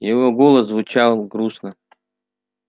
его голос звучал грустно